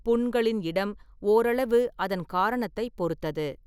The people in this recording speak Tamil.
புண்களின் இடம் ஓரளவு அதன் காரணத்தைப் பொறுத்தது.